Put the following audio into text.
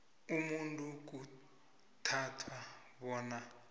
umuntu kuthathwa bona